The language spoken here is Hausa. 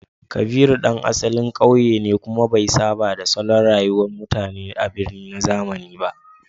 Kabiru ɗan asalin ƙauye ne, kuma bai saba da salon rayuwar mutane a birni na zamani ba.